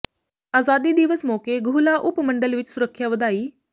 ਆਜ਼ਾਦੀ ਦਿਵਸ ਮੌਕੇ ਗੂਹਲਾ ਉਪ ਮੰਡਲ ਵਿੱਚ ਸੁਰੱਖਿਆ ਵਧਾਈ